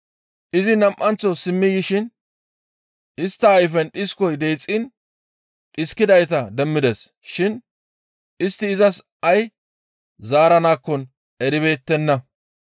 Izi nam7anththo simmi yishin istta ayfen dhiskoy deexxiin dhiskidayta demmides shin istti izas ay zaaranakkon eribeettenna.